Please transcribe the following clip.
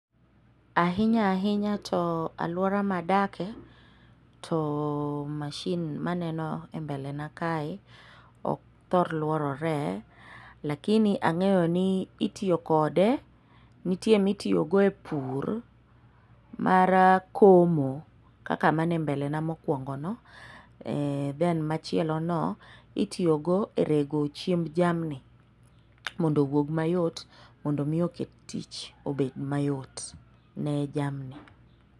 Ahinya ahinya to alwora madake, to mashin maneno e mbele na kae, ok thor lworore, lakini ang'eyo ni itiyo kode, nitie ma ipurogo e pur, mar koko kaka mane mbele na mokwongono, then machielono itiyogo e rego chiemb jamni mondo owuog mayot mondo omi oket tich obed mayot ne jamni.